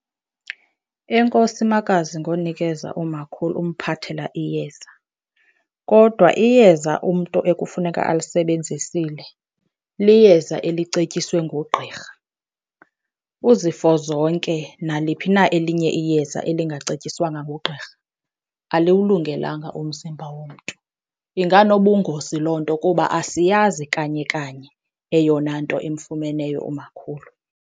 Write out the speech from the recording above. Enkosi makazi ngonikeza umakhulu, umphathela iyeza. Kodwa iyeza umntu ekufuneka alisebenzisile liyeza elicetyiswe ngugqirha. Uzifozonke naliphi na elinye iyeza elingacetyiswanga ngugqirha aliwulungelanga umzimba womntu. Inganobungozi loo nto kuba asiyazi kanye kanye eyona nto emfumeneyo umakhulu.